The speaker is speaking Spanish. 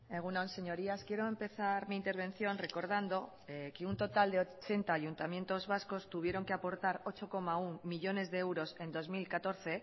egun on señorías quiero empezar mi intervención recordando que un total de ochenta ayuntamientos vascos tuvieron que aportar ocho coma uno millónes de euros en dos mil catorce